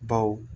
Baw